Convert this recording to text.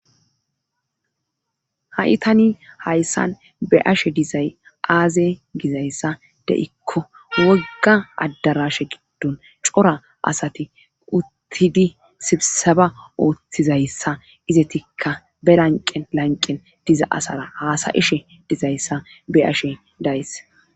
ha'i tani hayssan be'ashe dizay aaze gizayssa de'ikko wogga addarashe giddon cora asati uttidi sibsaba ooththizayssa izetikka be lanqen lanqen diza asara haasayishe dizayssa be'ashe dayis